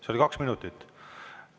See oli kaks minutit.